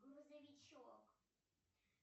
грузовичок